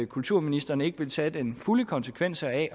kulturministeren ikke vil tage den fulde konsekvens af